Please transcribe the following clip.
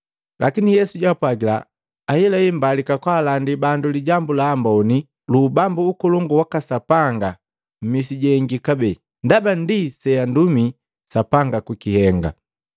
Lakini Yesu jaapwagila, “Ahelahe mbalika kaalandi bandu Lijambu la Amboni lu Ubambu Ukolongu waka Sapanga mmisi jengi kabee, ndaba ndi sejundumi Sapanga kuhenga.”